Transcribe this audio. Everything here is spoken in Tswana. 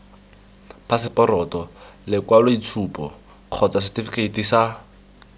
phaseporoto lekwaloitshupo kgotsa setefikeiti sa